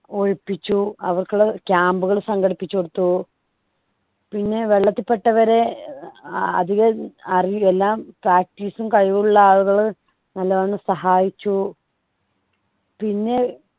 ഒഴിപ്പിച്ചു അവർക്കുള്ള camp കൾ സംഘടിപ്പിച്ചു കൊടുത്തു പിന്നെ വെള്ളത്തിൽപ്പെട്ടവരെ അധികം അറിയില്ല എല്ലാം practice ഉം കഴിവുള്ള ആളുകൾ നല്ലോണം സഹായിച്ചു പിന്നെ